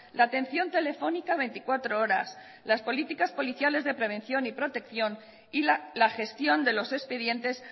la atención telefónica veinticuatro horas las políticas policiales de prevención y protección y la gestión de los expedientes